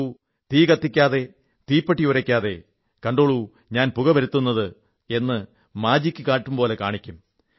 നോക്കൂ തീ കത്തിക്കാതെ തീപ്പെട്ടിയുരയ്ക്കാതെ കണ്ടോളൂ ഞാൻ പുക വരുത്തുന്നത് എന്ന് മാജിക്ക് കാട്ടുംപോലെ കാണിക്കും